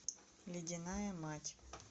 ледяная мать